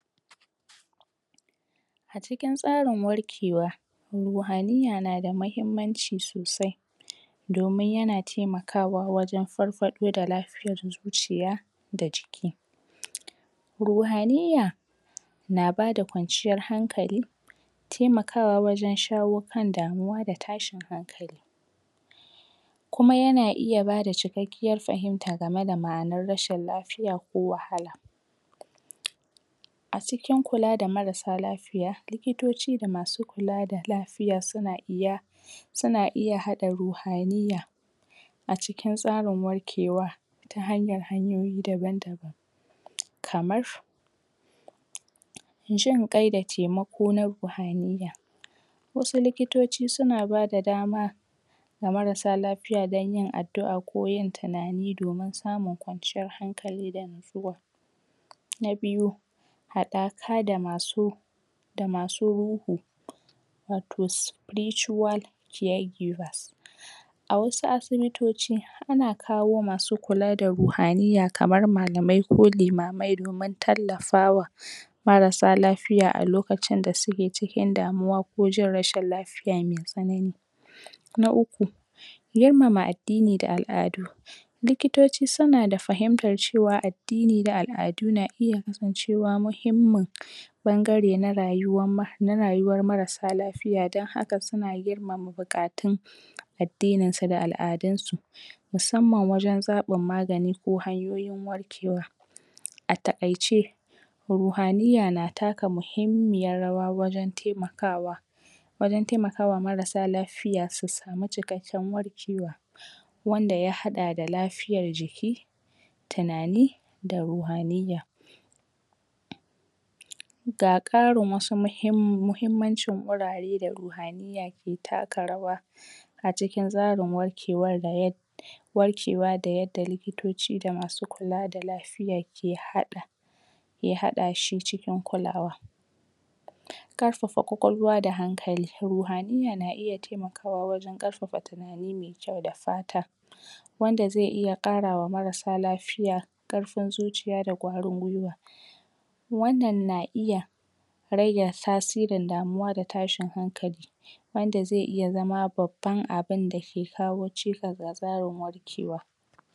A cikin tsarin warkewa ruhaniya na da mahimmanci sosai domin yana temakawa wajen farfaɗo da lafiyar zuciya da jiki ruhaniya na bada kwanciyar hankali temakawa wajen shawo kan damuwa da tashin hankali kuma yana iya bada cikakkiyar fahimta game da ma'anar rashin lafiya ko wahala a cikin kula da marasa lafiya likitoci da masu kula da lafiya suna iya suna iya haɗa ruhaniya a cikin tsarin warkewa ta hanyar hanyoyi daban-daban kamar jin ƙai da taimako na ruhaniya wasu likitoci suna bada dama ga marasa lafiya dan yin addu'a ko yin tunani domin samun kwanciyar hankali da natsuwa na biyu haɗaka da masu da masu ruhu wato spiritual care givers a wasu asibitoci ana kawo masu kula da ruhaniya kamar malamai ko limamai domin tallafawa marasa lafiya a lokacin da suke cikin damuwa ko jin rashin lafiya me tsanani na uku, girmama addini da al'adu likitoci suna da fahimtar cewa addini da al'adu na iya kasancewa mahimmin ɓangare na rayuwa ma na rayuwar marasa lafiya dan haka suna girmama buƙatun addinin su da al'adun su musamman wajen zaɓin magani ko hanyoyin warkewa a taƙaice ruhaniya na taka mahimmiyar rawa wurin temakawa wurin taimakawa marasa lafiya su samu cikakken warkewa wanda ya haɗa da lafiya tunani da ruhaniya ga ƙarin wasu muhimmanci wuraren da ruhaniya ke taka rawa a cikin tsarin warkewa warkewa da yadda likitoci da masu kula da lafiya ke haɗa ke haɗa shi cikin kulawa ƙarfafa ƙwaƙwalwa da hankali ruhaniya na iya taimakawa wajen ƙarfafa tunani mai kyau da fata wanda ze iya ƙarawa marasa lafiya ƙarfin zuciya da ƙwarin gwuiwa wannan na iya rage tasirin damuwa da tashin hankali wanda ze iya zama babban abinda ke kawo cikas ga tsarin wafcewa.